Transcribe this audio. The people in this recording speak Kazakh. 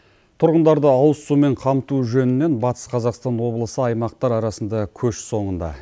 тұрғындарды ауызсумен қамту жөнінен батыс қазақстан облысы аймақтар арасында көш соңында